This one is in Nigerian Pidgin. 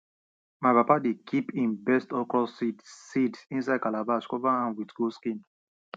my papa dey kip him best okro seeds seeds inside calabash cover am wit goat skin